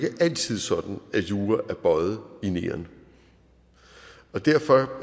altid sådan at jura er bøjet i neon derfor